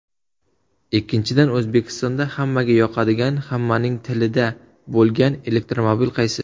Ikkinchidan, O‘zbekistonda hammaga yoqadigan, hammaning tilida bo‘lgan elektromobil qaysi?